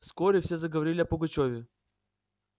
вскоре все заговорили о пугачёве